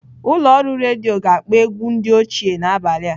Ụlọ ọrụ redio ga-akpọ ewgu ndi ochie n'abalị a.